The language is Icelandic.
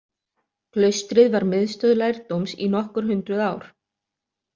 Klaustrið var miðstöð lærdóms í nokkur hundruð ár.